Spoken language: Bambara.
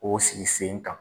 O sigi sen kan.